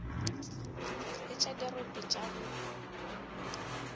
le tša dirope tša go